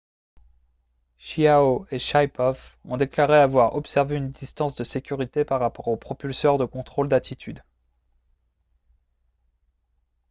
chiao et shaipov ont déclaré avoir observé une distance de sécurité par rapport aux propulseurs de contrôle d'attitude